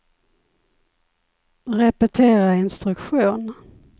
repetera instruktion